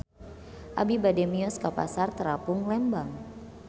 Abi bade mios ka Pasar Terapung Lembang